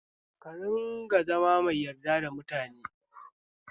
Ka rinƙa zama mai yarda da mutane